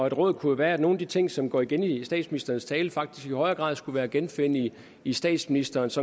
et råd kunne være at nogle af de ting som går igen i statsministerens tale faktisk i højere grad skulle være at genfinde i i statsministerens